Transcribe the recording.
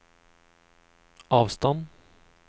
avstand